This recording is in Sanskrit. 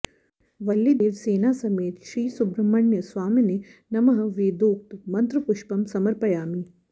वल्लीदेवसेना समेत श्री सुब्रह्मण्य स्वामिने नमः वेदोक्त मन्त्रपुष्पं समर्पयामि